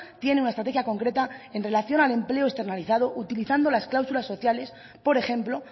tiene una estrategia concreta en relación al empleo externalizado utilizando las cláusulas sociales por ejemplo